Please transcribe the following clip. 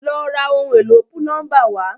Lọ ra ohun èlò púlọ́ńbà wá!